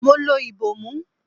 Mo lo ìbòmú.